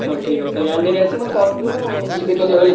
ହଉ ଠିକ୍ ଅଛି ତା ହେଲେ କାଲି ଗାଡି ନେଇକି ଆସିବୁ ମତେ call କରିବୁ ମୁଁ ଯିବି କାଲି ହେଲା।